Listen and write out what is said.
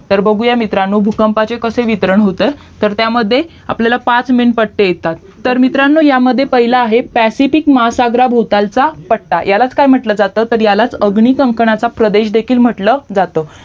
तर बघूया मित्रांनो भूकंपाके कसे वितरण होते तर त्या मध्ये आपल्याला पाच पट्टे येतात तर मित्रांनो या मध्ये पहिलं आहे पॅसिफिक महासागरच्या भौतालचा पट्टा यालाच काय म्हंटलं जात तर आधुनिक कंपनाचा प्रदेश देखील म्हंटलं जातं